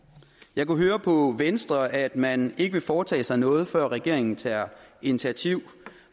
jeg kunne høre på venstre at man ikke vil foretage sig noget før regeringen tager initiativ